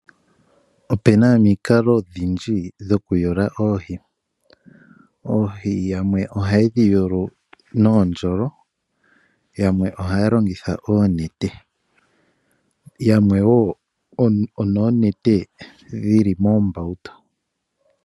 Opu na omikalo odhindji dhokuyuula oohi, oohi yamwe ohaye dhi yuula noondjolo, yamwe ohaya longitha oonete yamwe oonete dhili moombawutu.